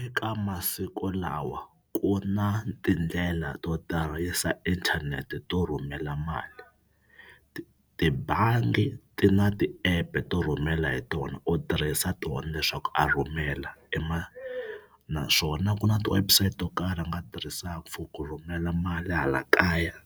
Eka masiku lawa ku na tindlela to tirhisa inthanete to rhumela mali. Ti tibangi ti na ti-app to rhumela hi tona. U tirhisa tona leswaku a rhumela naswona ku na ti-website to karhi a nga tirhisaka for ku rhumela mali hala kaya